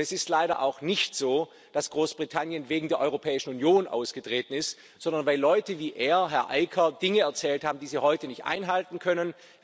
Und es ist leider auch nicht so, dass Großbritannien wegen der Europäischen Union ausgetreten ist, sondern weil Leute wie er, Herr Aker, Dinge erzählt haben, die sie heute nicht einhalten können.